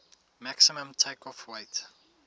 maximum takeoff weight